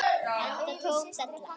Enda tóm della.